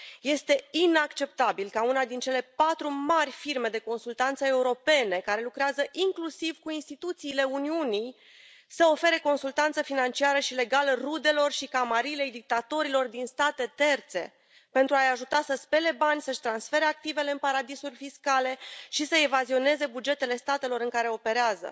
Este inacceptabil ca una din cele patru mari firme de consultanță europene, care lucrează inclusiv cu instituțiile Uniunii, să ofere consultanță financiară și legală rudelor și camarilei dictatorilor din state terțe pentru a i ajuta să spele bani, să și transfere activele în paradisuri fiscale și să evazioneze bugetele statelor în care operează.